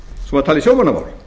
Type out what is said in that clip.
svo maður tali sjómannamál